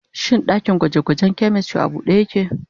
Shin dakin gwaje-gwajen chemistry a bude yake?